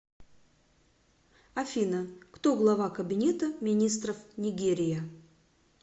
афина кто глава кабинета министров нигерия